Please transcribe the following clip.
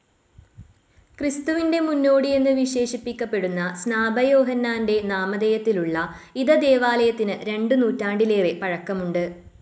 ക്രിസ്തുവിൻ്റെ മുന്നോടിയെന്ന് വിശേഷിപ്പിക്കപ്പെടുന്ന സ്‌നാപകയോഹന്നാൻ്റെ നാമധേയത്തിലുള്ള ഇധ ദേവാലയത്തിന് രണ്ട് നൂറ്റാണ്ടിലേറെ പഴക്കമുണ്ട്.